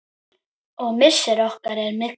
Og missir okkar er mikill.